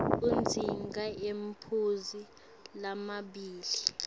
udzinga emaphuzu lamabili